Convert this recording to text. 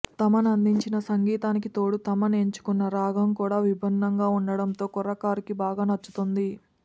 తమన్ అందించిన సంగీతానికి తోడూ తమన్ ఎంచుకున్న రాగం కూడా విభిన్నంగా ఉండటంతో కుర్రకారు కి బాగా నచ్చుతోంది